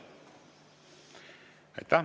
Aitäh!